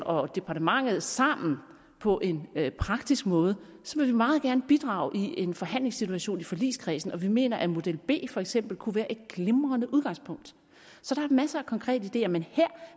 og departementet sammen på en praktisk måde vil vi meget gerne bidrage i en forhandlingssituation i forligskredsen og vi mener at model b for eksempel kunne være et glimrende udgangspunkt så der er masser af konkrete ideer men her